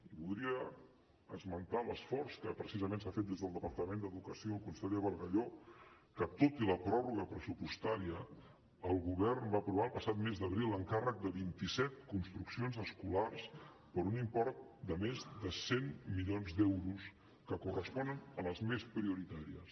i voldria esmentar l’esforç que precisament s’ha fet des del departament d’educació el conseller bargalló que tot i la pròrroga pressupostària el govern va aprovar el passat mes d’abril l’encàrrec de vint i set construccions escolars per un import de més de cent milions d’euros que corresponen a les més prioritàries